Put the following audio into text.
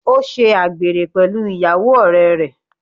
Ó ṣe àgbèrè pẹ̀lú ìyàwó ọ̀rẹ́ rẹ̀.